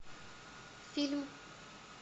фильм